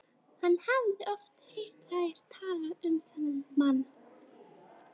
Hann hafði oft heyrt þær tala um þennan mann.